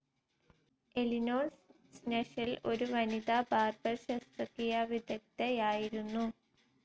Eleanor സ്നെഷെൽ ഒരു വനിതാബാർബർ ശസ്ത്രക്രിയാവിദഗ്ദ്ധയായിരുന്നു.